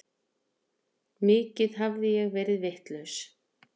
Mikið hafði ég verið vitlaus.